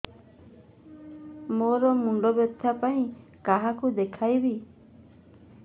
ମୋର ମୁଣ୍ଡ ବ୍ୟଥା ପାଇଁ କାହାକୁ ଦେଖେଇବି